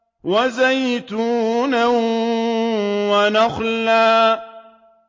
وَزَيْتُونًا وَنَخْلًا